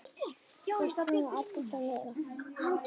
Við þurfum að byggja meira.